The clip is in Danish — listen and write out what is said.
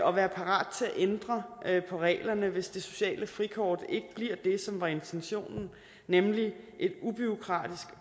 og være parat til at ændre på reglerne hvis det sociale frikort ikke bliver det som var intentionen nemlig en ubureaukratisk